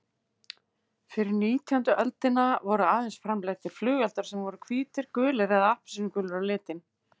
Fyrir nítjándu öldina voru aðeins framleiddir flugeldar sem voru hvítir, gulir eða appelsínugulir á litinn.